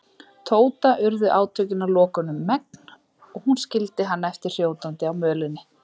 Tóta urðu átökin að lokum um megn og hún skildi hann eftir hrjótandi á mölinni.